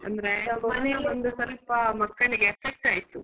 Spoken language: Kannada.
ಅಂದ್ರೆ ಮನೇಲಿ ಒಂದು ಸ್ವಲ್ಪ ಮಕ್ಕಳಿಗೆ effect ಆಯ್ತು.